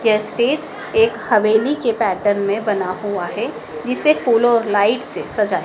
यह स्टेज एक हवेली के पैटर्न में बना हुआ है। जिसे फूलों और लाइट से सजा--